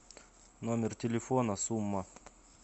номер телефона сумма